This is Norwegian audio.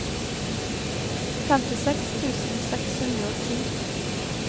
femtiseks tusen seks hundre og ti